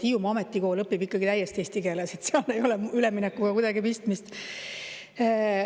Hiiumaa Ametikoolis õpitakse ikkagi täiesti eesti keeles, seal ei ole üleminekuga midagi pistmist.